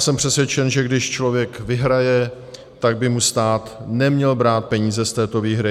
Jsem přesvědčen, že když člověk vyhraje, tak by mu stát neměl brát peníze z této výhry.